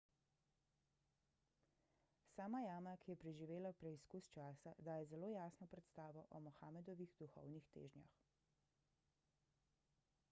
sama jama ki je preživela preizkus časa daje zelo jasno predstavo o mohamedovih duhovnih težnjah